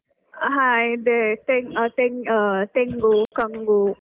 ಹಾ ಇದೇ ತೆಂ~ ಆ ತೆಂ~ ತೆಂಗು, ಕಂಗು.